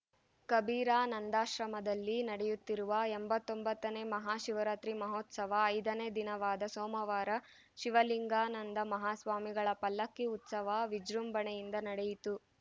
ಕಬೀರಾನಂದಾಶ್ರಮದಲ್ಲಿ ನಡೆಯುತ್ತಿರುವ ಎಂಬತ್ತೊಂಬತ್ತನೇ ಮಹಾಶಿವರಾತ್ರಿ ಮಹೋತ್ಸವ ಐದನೇ ದಿನವಾದ ಸೋಮವಾರ ಶಿವಲಿಂಗಾನಂದ ಮಹಾಸ್ವಾಮಿಗಳ ಪಲ್ಲಕ್ಕಿ ಉತ್ಸವ ವಿಜೃಂಭಣೆಯಿಂದ ನಡೆಯಿತು